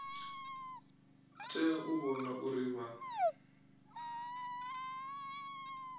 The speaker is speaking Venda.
tea u vhona uri vha